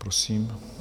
Prosím.